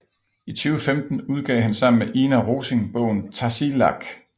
I 2015 udgav han sammen med Ina Rosing bogen Tasiilaq